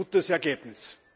Ein gutes Ergebnis!